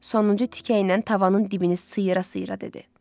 Sonuncu tikə ilə tavanın dibini sıyıra-sıyıra dedi.